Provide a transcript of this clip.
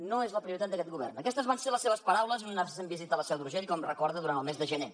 no és la prioritat d’aquest govern aquestes van ser les seves paraules en una recent visita a la seu d’urgell com recorda durant el mes de gener